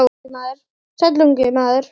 Sæll, ungi maður